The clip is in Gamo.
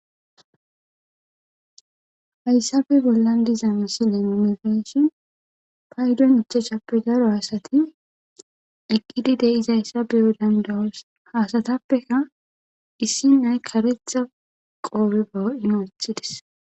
Haysappe bollan diza misiley paydon 5ppe daro asat eqid de'zaysa beyo danda'os , ha asatappekka issi nay karetha qope be hu'en wothides.